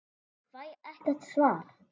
Ég fæ ekkert svar.